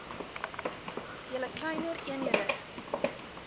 julle kleiner eenhede